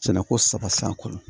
Sɛnɛko saba san kɔnɔ